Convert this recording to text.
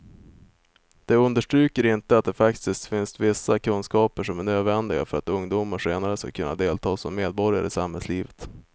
De understryker inte att det faktiskt finns vissa kunskaper som är nödvändiga för att ungdomar senare ska kunna delta som medborgare i samhällslivet.